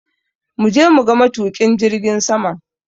Muje muga matuƙin jirgin saman!